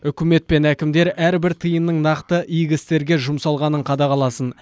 үкімет пен әкімдер әрбір тиынның нақты игі істерге жұмсалғанын қадағаласын